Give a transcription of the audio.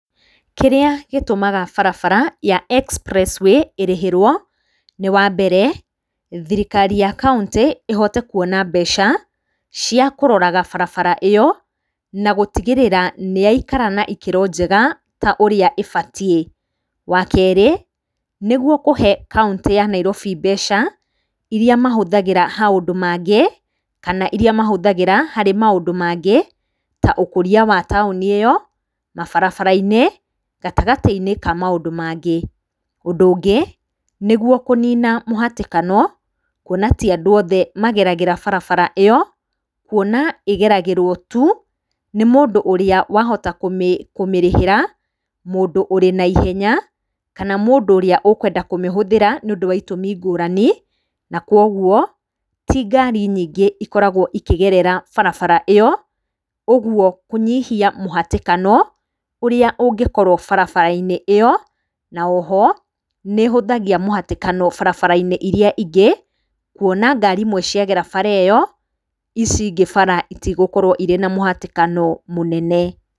Kĩrĩa gĩtũmaga barabara ya expressway ĩrĩhĩrwo nĩ wa mbere, thirikari ya kauntĩ ĩhote kuona mbeca cia kũroraga barabara ĩyo na gũtigĩrĩra nĩ yaikara na ikĩro njega ta ũrĩa ĩbatiĩ. Wa kerĩ, nĩ guo kũhe kauntĩ ya Nairobi mbeca, iria mahũthagĩra maũndũ mangĩ, kana iria mahũthagira harĩ mũndũ mangĩ ta ũkũria wa taũni ĩyo, mabarabara-inĩ gatagatĩ-inĩ ka maũndũ mangĩ. Ũndũ ũngĩ, nĩ guo kũnina mũhatĩkano kuona ti andũ othe mageragĩra barabara ĩyo, kuona ĩgeragĩrwo tu nĩ mũndũ ũrĩa wahota kũmĩrĩhira, mũndũ ũrĩ na ihenya, kana mũndũ ũrĩa ũkwenda kũmĩhũthĩra nĩ ũndũ wa itũmi ngũrani, na kũguo ti ngari nyingĩ ikoragwo ikĩgerera barabara ĩyo, ũguo kũnyihia mũhatĩkano ũrĩa ũngĩkorwo barabara-inĩ ĩyo, na oho, nĩ ĩhũthagia mũhatĩkano barabara-inĩ iria ingĩ, kuona ngari imwe ciagera bara ĩyo, ici ingĩ bara itigũkorwo na mũhatĩkano mũnene.